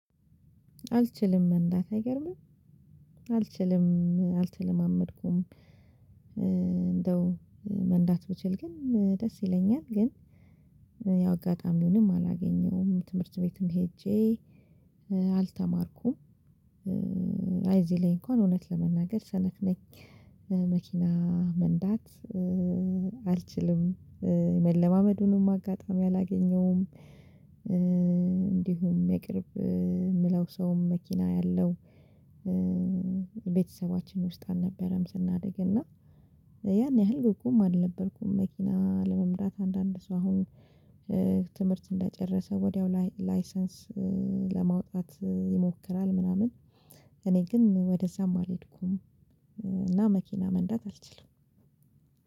አልችልም መንዳት አይገርምም? አልችልም አልተለማመድኩም አንደው መንዳት ብችል ግን ደስ ይለኛል ግን ያው አጋጣሚውንም አላገኘሁም ትምህርት ቤትም ሄጄ አልተማርኩም። አይ አዚ ላይ አንኳን አዉነት ለመናገር ሰነፍ ነኝ። መኪና መንዳት አልችልም። መለማመዱንም አጋጣሚ አላገኘዉም። አንዲሁም የቅርብ የሚለዉም ሰው መኪና ያለው ቤተሰባችን ዉስጥ አልነበረም ስናድግ አና ያን ያህል ጎኩም አልነበርኩም መኪና ለመንዳት አንዳንድ ሰው አሁን ትምህርት አንደጨረሰ ወዲያው ላይሰንስ ለማዉጣት ይሞክራል ምናምን አኔ ግን ወደ አዛም አልሄድኩም አና መኪና መንዳት አልችልም።